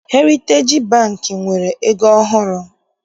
Heritej Bankị nwere ego ọhụrụ.